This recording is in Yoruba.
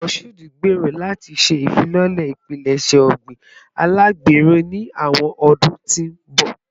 Mashood ngbero lati ṣe ifilọlẹ ipilẹṣẹ ogbin alagbero ni awọn ọdun ti n bọ